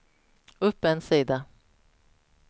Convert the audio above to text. upp en sida